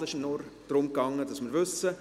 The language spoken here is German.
Es ging mir bloss darum, dass wir das wissen.